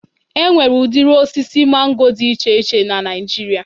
E nwere udiri osisi mango dị na iche iche n'Naijiria